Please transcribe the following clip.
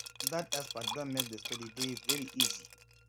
dat expert don make the study dey very easy